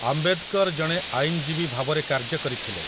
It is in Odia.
ଆମ୍ବେଦକର୍ ଜଣେ ଆଇନଜୀବୀ ଭାବରେ କାର୍ଯ୍ୟ କରିଥିଲେ ।